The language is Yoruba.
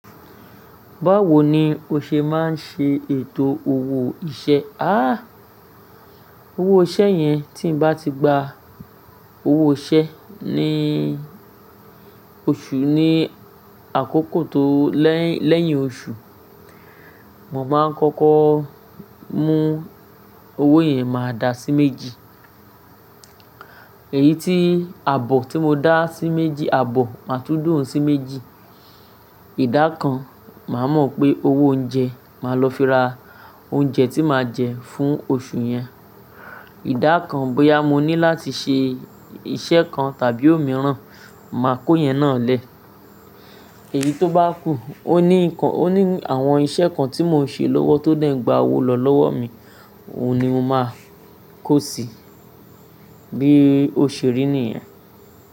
Báwo ni o ṣe máa ń ṣe ètò owó iṣẹ́? Àh! Owó iṣẹ́ yẹn, tí mo bá ti gba owó iṣẹ́ ní oṣù ní àkókò tó lẹ́yìn oṣù, mo máa ń kọ́kọ́ mú owó yẹn máa dà á sí méjì. Èyí tí àbọ̀ tí mo dá sí méjì, àbọ̀ máa tún da oun sí méjì. Ìdá kan màá mọ̀ pé owó oúnjẹ, màá lọ fi ra oúnjẹ tí màá jẹ fún oṣù yẹn. Ìdá kan bóyá mo ní láti ṣe iṣẹ́ kan tàbí òmíràn, màá kó yen náà lẹ́ẹ̀. Èyí tó bá kú, ó ní àwọn iṣẹ́ kan tí mò ń ṣe lówó tó dẹ̀ ń gba owó lọ lọ́wọ́ mi, òun ni mo máa kó sí i bí òṣe ri ni ìyẹn.